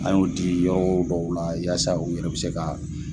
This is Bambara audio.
An y'o di yɔrɔw dɔw la, yasa u yɛrɛw bɛ se ka